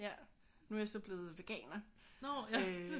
Nu er jeg så blevet veganer øh